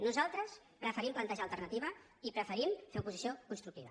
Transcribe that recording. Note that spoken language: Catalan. nosaltres preferim plantejar alternativa i preferim fer oposició constructiva